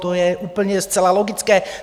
To je úplně zcela logické.